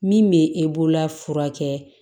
Min bɛ e bolola fura kɛ